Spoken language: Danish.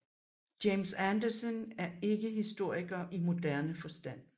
James Anderson er ikke historiker i moderne forstand